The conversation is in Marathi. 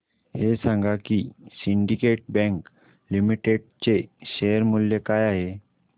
हे सांगा की सिंडीकेट बँक लिमिटेड चे शेअर मूल्य काय आहे